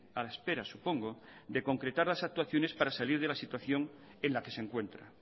a la espera supongo de concretar las actuaciones para salir de la situación en la que se encuentra